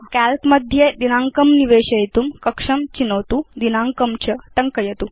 काल्क मध्ये दिनाङ्कं निवेशयितुं कक्षं चिनोतु दिनाङ्कं च टङ्कयतु